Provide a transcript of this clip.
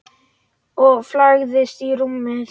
Og lagðist í rúmið.